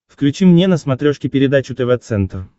включи мне на смотрешке передачу тв центр